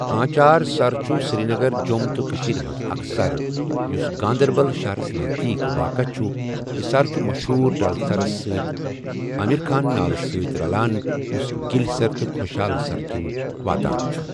آنٛچار سَر چھُ سِریٖنَگَر، جۆم تہٕ کٔشیٖر مَنٛز اَكھ سَر یُس گانٛدَربَل شہرَس نَذدیٖک، واقع چھُ یہِ سَر چھُ مَشہوٗر ڈَل سَرَس سٟتؠ آمِر خان نالہٕ سٟتؠ رَلان یُس گِلؠ سَر تہٕ خۄشحال سَر کِن واتان چھُ ۔